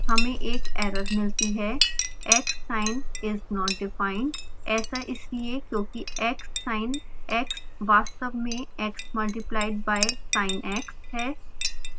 हमें एक एरर मिलती है xsin is not defined